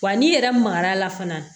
Wa n'i yɛrɛ magar'a la fana